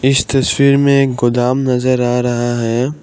इस तस्वीर में एक गोदाम नजर आ रहा है।